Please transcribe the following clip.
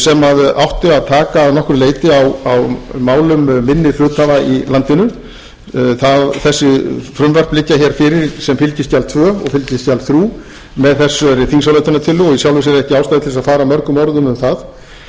átti að taka að nokkru leyti á málum minni hluthafa í landinu þessi frumvörp liggja hér fyrir sem fylgiskjal tvö og fylgiskjal þrjú með þessari þingsályktunartillögu og í sjálfu sér er ekki ástæða til að fara mörgum orðum um það þar er rauði þráðurinn